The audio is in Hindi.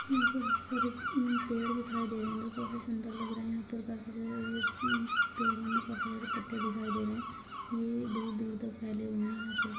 यहाँ पर बहुत सारे पेड़ दिखाई दे रहे है जो काफी सुंदर लग रहे है पर काफी सारे पेड़ो में काफी सारे पत्ते दिखाई दे रहे हैं ये दूर-दूर तक फेले हुए है यहाँ पर --